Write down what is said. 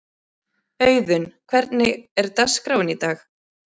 Auðun, hvernig er dagskráin í dag?